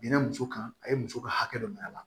Binna muso kan a ye muso ka hakɛ dɔ minɛ a la